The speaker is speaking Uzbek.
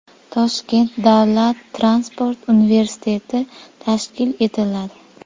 Toshkent davlat transport universiteti tashkil etiladi.